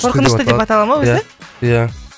қорқынышты деп атала ма өзі ия ия